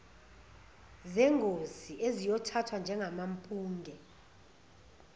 zengosi eziyothathwa njengamampunge